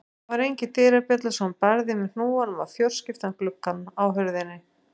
Það var engin dyrabjalla svo hann barði með hnúanum á fjórskiptan gluggann á hurðinni.